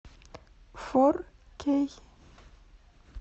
фор кей